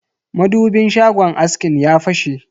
madubin shagon askin ya fashe.